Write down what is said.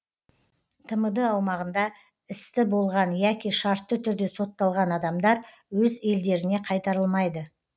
тмд аумағында істі болған яки шартты түрде сотталған адамдар өз елдеріне қайтарылмайды